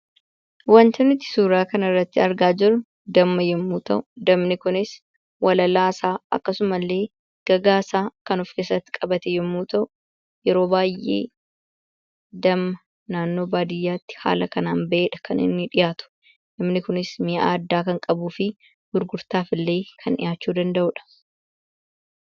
Wanti nuti suuraa kanarratti argaa jirru damma yommuu ta'u, dammi kunis walalaa isaa akkasumas gagaa isaa kan of keessatti qabate yommuu ta'u, yeroo baay'ee naannoo baadiyyaatti dammi haala kanaan baheedha kan inni dhiyaatu. Dammi kunis mi'aa addaa kan qabuu fi gurgurtaaf illee dhiyaachuu kan danda’uudha.